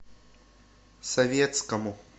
советскому